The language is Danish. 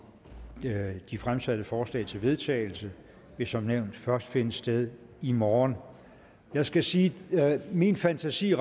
de fremsatte forslag til vedtagelse vil som nævnt først finde sted i morgen jeg skal sige at min fantasi